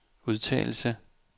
udtalelse